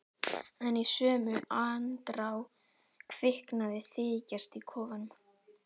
En í sömu andrá kviknaði þykjast í kofanum.